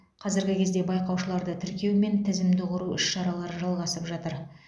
қазіргі кезде байқаушыларды тіркеу мен тізімді құру іс шаралары жалғасып жатыр